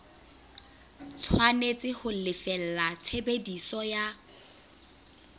tshwanetse ho lefella tshebediso ya